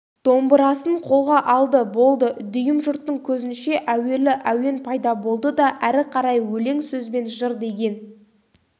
домбырасын қолға алды болды дүйім жұрттың көзінше әуелі әуен пайда болады да әрі қарай өлең сөзбен жыр деген